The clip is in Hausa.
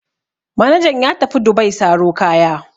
Manajan ya tafi Dubai saro kaya.